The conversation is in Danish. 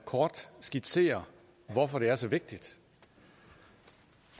kort skitsere hvorfor det er så vigtigt